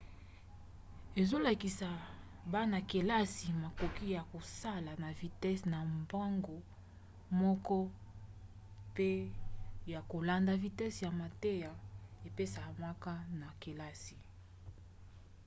ezolakisa bana-kelasi makoki ya kosala na vitese na bango moko mpe ya kolanda vitese ya mateya epesamaka na kelasi